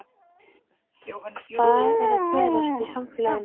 Hvað er að gerast í samfélaginu?